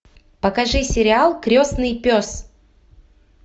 покажи сериал крестный пес